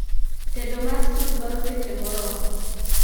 Tedo mar sup dwaro seche moromo